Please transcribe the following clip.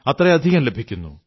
അത്രയധികം ലഭിക്കുന്നു